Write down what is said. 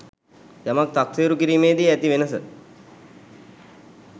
යමක් තක්සේරු කිරීමේ දී ඇති වෙනස.